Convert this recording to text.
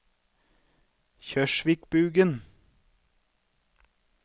Kjørsvikbugen